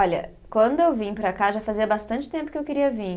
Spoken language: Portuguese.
Olha, quando eu vim para cá, já fazia bastante tempo que eu queria vir.